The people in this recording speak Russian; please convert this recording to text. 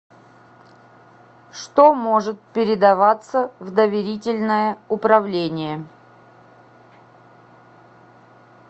что может передаваться в доверительное управление